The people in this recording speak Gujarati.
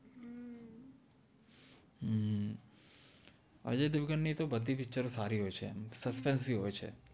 અજય઼ દેવગન નિ તો બદ્ધિ પિચ્ચર સારિ હોએ ચે સસ્પેન્સ બિ હોએ ચે